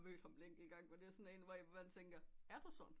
Mødt ham en enkelt gang hvor det er man tænker er du sådan